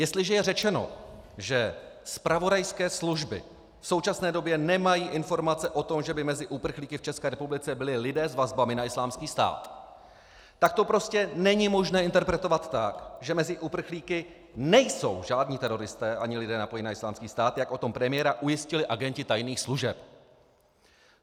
Jestliže je řečeno, že zpravodajské služby v současné době nemají informace o tom, že by mezi uprchlíky v České republice byli lidé s vazbami na Islámský stát, tak to prostě není možné interpretovat tak, že mezi uprchlíky nejsou žádní teroristé ani lidé napojení na Islámský stát, jak o tom premiéra ujistili agenti tajných služeb.